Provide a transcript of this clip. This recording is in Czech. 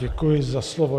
Děkuji za slovo.